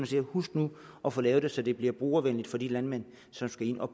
siger husk nu at få lavet det så det bliver brugervenligt for de landmænd som skal ind og